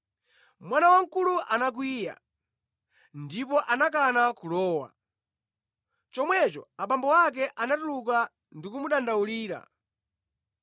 “Mwana wamkulu anakwiya ndipo anakana kulowa. Chomwecho abambo ake anatuluka ndi kumudandaulira.